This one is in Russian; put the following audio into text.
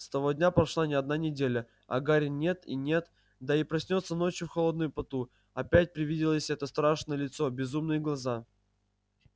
с того дня прошла не одна неделя а гарри нет и нет да и проснётся ночью в холодном поту опять привиделось это страшное лицо безумные глаза